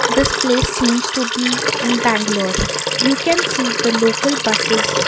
this place seems to be in bangalore you can see the local buses.